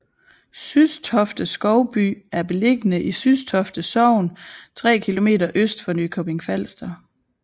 Systofte Skovby er beliggende i Systofte Sogn tre kilometer øst for Nykøbing Falster